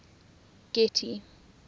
getty